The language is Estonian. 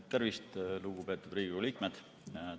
Tervist, lugupeetud Riigikogu liikmed!